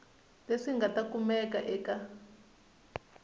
leswi nga ta kumiwa eka